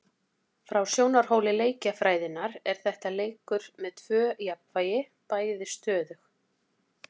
Frá sjónarhóli leikjafræðinnar er þetta leikur með tvö jafnvægi, bæði stöðug.